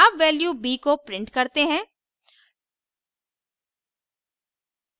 अब value b को print करते हैं